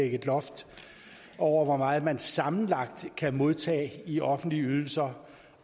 et loft over hvor meget man sammenlagt kan modtage i offentlige ydelser